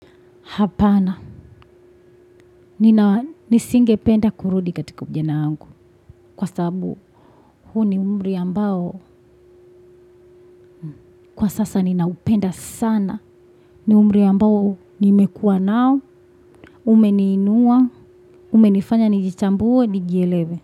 Hapana, nisingependa kurudi katika ujana wangu kwa sababu huu ni umri ambao kwa sasa ninaupenda sana. Ni umri ambao nimekua nao, umeniinua, umenifanya nijitambuwe, nijielewe.